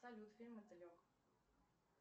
салют фильм мотылек